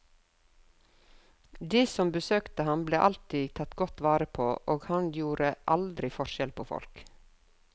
De som besøkte ham, ble alltid tatt godt vare på, og han gjorde aldri forskjell på folk.